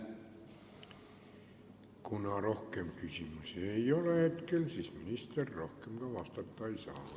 Kuna rohkem küsimusi ei ole, siis minister rohkem vastata ei saa.